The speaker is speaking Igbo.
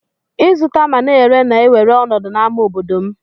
Izụta ma na ere na ewere ọnọdụ na ama obodom.